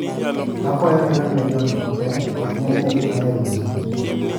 Akwayo iorne John ote wachne ni an e rusa.